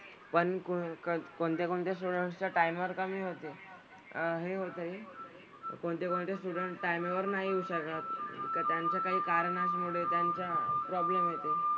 पण कुण कण कोणत्या कोणत्या स्टुडंट्सचं टायमर कमी होते. अह हे होते कोणते कोणते स्टुडंट्स टायमेवर नाही येऊ शकत. तर त्यांचं काही कारणामुळेच त्यांचा प्रॉब्लेम येते.